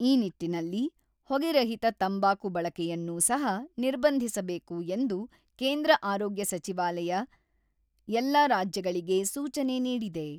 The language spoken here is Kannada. ಈ ನಿಟ್ಟಿನಲ್ಲಿ ಹೊಗೆರಹಿತ ತಂಬಾಕು ಬಳಕೆಯನ್ನೂ ಸಹ ನಿರ್ಬಂಧಿಸಬೇಕು ಎಂದು ಕೇಂದ್ರ ಆರೋಗ್ಯ ಸಚಿವಾಲಯ ಎಲ್ಲ ರಾಜ್ಯಗಳಿಗೆ ಸೂಚನೆ ನೀಡಿದೆ.